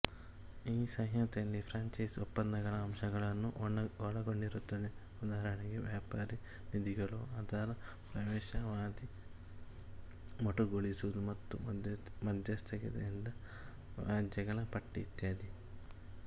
ಈ ಸಂಹಿತೆಯಲ್ಲಿ ಫ್ರ್ಯಾಂಚೈಸ್ ಒಪ್ಪಂದಗಳ ಅಂಶಗಳನ್ನು ಒಳಗೊಂಡಿರುತ್ತದೆಉದಾಹರಣೆಗೆ ವ್ಯಾಪಾರಿ ನಿಧಿಗಳುಅದರ ಪ್ರವೇಶಾವಧಿಮೊಟಕುಗೊಳಿಸುವುದು ಮತ್ತು ಮಧ್ಯಸ್ಥಿಕೆಯಿಂದ ವ್ಯಾಜ್ಯಗಳ ಪಟ್ಟಿ ಇತ್ಯಾದಿ